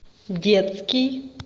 детский